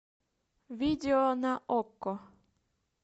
видео на окко